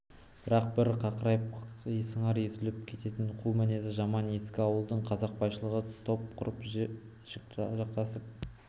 бірақ бір қыңырайып сыңар езулеп кететін қу мінезі жаман ескі ауылдың қазақбайшылығы топ құрып жік жасақтап